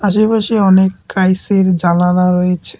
আশেপাশে অনেক কাইচের জানালা রইছে।